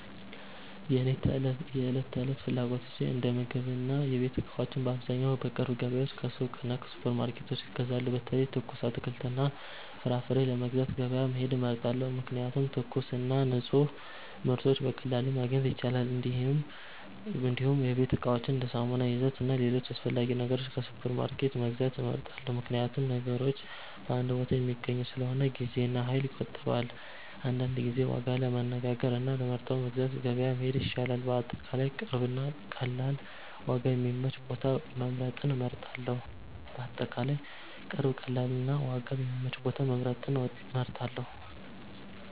እኔ የዕለት ተዕለት ፍላጎቶቼን እንደ ምግብና የቤት እቃዎች በአብዛኛው ከቅርብ ገበያዎች፣ ከሱቆች እና ከሱፐርማርኬቶች እገዛለሁ። በተለይ ትኩስ አትክልትና ፍራፍሬ ለመግዛት ገበያ መሄድ እመርጣለሁ፣ ምክንያቱም ትኩስና ንፁህ ምርቶች በቀላሉ ማግኘት ይቻላል። እንዲሁም የቤት እቃዎችን እንደ ሳሙና፣ ዘይት እና ሌሎች አስፈላጊ ነገሮች ከሱፐርማርኬት መግዛት እመርጣለሁ፣ ምክንያቱም ነገሮች በአንድ ቦታ የሚገኙ ስለሆነ ጊዜና ኃይል ይቆጠባል። አንዳንድ ጊዜ ዋጋ ለማነጋገር እና ለመርጠው ለመግዛት ገበያ መሄድ ይሻላል። በአጠቃላይ ቅርብ፣ ቀላል እና ዋጋ የሚመች ቦታ መምረጥን እመርጣለሁ።